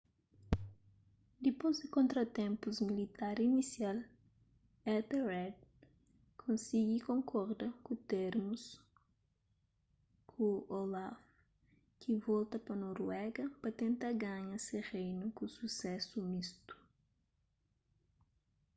dipôs di kontratenpus militar inisial ethelred konsigi konkorda ku termus ku olaf ki volta pa noruega pa tenta ganha se reinu ku susésu mistu